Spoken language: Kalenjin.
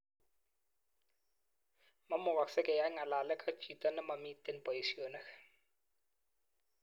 Mamukasek keyan ngalalek ak jito nemamiten paishonik.